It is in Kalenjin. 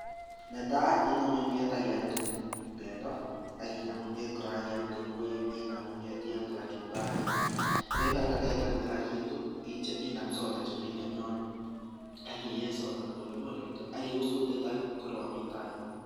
Netai inome inome kimyet ak iamde bendo ak inam kimyet kora ak iamde ngwek inam kimyet iamde kachumbari. Ye ibata kaitar kila kitu inam soda chemiten yono akiyee soda polepole kityo. Ak ius kutit ak koroon mi tai yon.